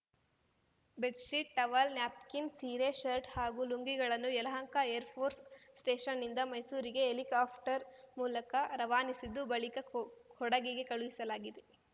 bedsheet towel napkin ಸೀರೆ shirt ಹಾಗೂ ಲುಂಗಿಗಳನ್ನು ಯಲಹಂಕ ಏರ್‌ಫೋರ್ಸ್‌ ಸ್ಟೇಷನ್‌ನಿಂದ ಮೈಸೂರಿಗೆ ಹೆಲಿಕಾಪ್ಟರ್‌ ಮೂಲಕ ರವಾನಿಸಿದ್ದು ಬಳಿಕ ಕೊ ಕೊಡಗಿಗೆ ಕಳುಹಿಸಲಾಗಿದೆ